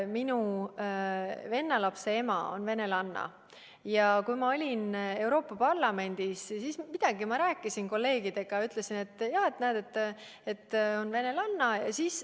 Minu venna lapse ema on venelanna ja kui ma olin Euroopa Parlamendis, siis midagi ma rääkisin kolleegidega ja ütlesin, et jah, näed, ta on venelanna.